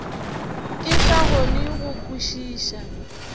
ke sa kgone go kwešiša